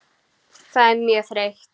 Það er mjög þreytt.